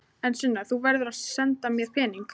En Sunna, þú verður að senda mér peninga.